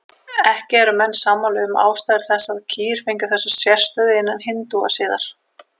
Ekki eru menn sammála um ástæður þess að kýr fengu þessa sérstöðu innan hindúasiðar.